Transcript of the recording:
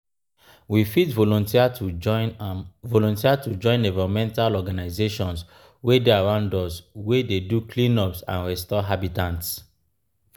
we fit volunteer to join volunteer to join environmental organisations wey dey around us wey dey do cleanups and restore habitat